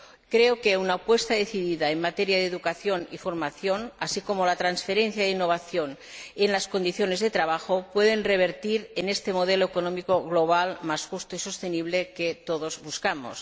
Creo que una apuesta decidida en materia de educación y formación, así como la transferencia de innovación en las condiciones de trabajo, pueden revertir en este modelo económico global más justo y sostenible que todos buscamos.